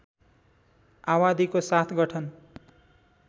आवादीको साथ गठन